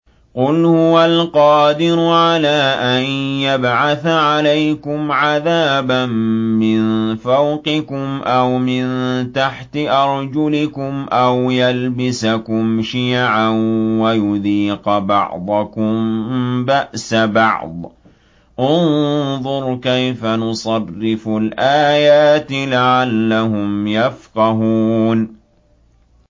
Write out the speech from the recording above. قُلْ هُوَ الْقَادِرُ عَلَىٰ أَن يَبْعَثَ عَلَيْكُمْ عَذَابًا مِّن فَوْقِكُمْ أَوْ مِن تَحْتِ أَرْجُلِكُمْ أَوْ يَلْبِسَكُمْ شِيَعًا وَيُذِيقَ بَعْضَكُم بَأْسَ بَعْضٍ ۗ انظُرْ كَيْفَ نُصَرِّفُ الْآيَاتِ لَعَلَّهُمْ يَفْقَهُونَ